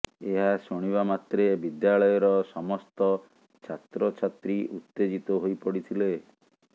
ଏହା ଶୁଣିବା ମାତ୍ରେ ବିଦ୍ୟାଳୟର ସମସ୍ତ ଛାତ୍ରଛାତ୍ରୀ ଉତ୍ତେଜିତ ହୋଇପଡିଥିଲେ